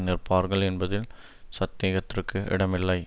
நிற்பார்கள் என்பதில் சத்தேகத்திற்கு இடமில்லை